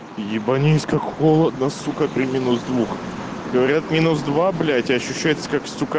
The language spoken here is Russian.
ебанись как холодно сука при минус двух говорят минус два блять а ощущается как сука